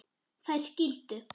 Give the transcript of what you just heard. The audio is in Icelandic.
Þær skildu.